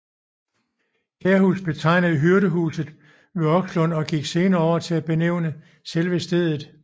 Kærhus betegnede hyrdehuset ved Okslund og gik senere over til at benævne selve stedet